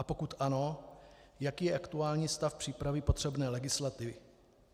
A pokud ano, jaký je aktuální stav přípravy potřebné legislativy.